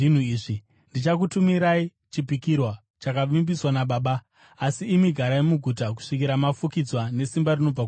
Ndichakutumirai chipikirwa chakavimbiswa naBaba; asi imi garai muguta kusvikira mafukidzwa nesimba rinobva kumusoro.”